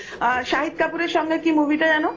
শাহিদ কাপুর সঙ্গে কি movie টা যেন